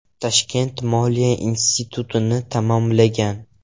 Toshkent moliya institutini tamomlagan.